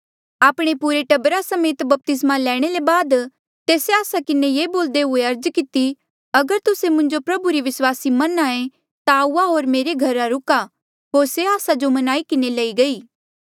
आपणे पुरे टब्बरा समेत बपतिस्मा लैणे ले बाद तिन्हें आस्सा किन्हें ये बोल्दे हुए अर्ज किती अगर तुस्से मुंजो प्रभु री विस्वासी मन्नहां ऐें ता आऊआ होर मेरे घरा रुका होर से आस्सा जो मन्नाई किन्हें लई गई